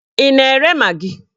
Ị na-ere magị?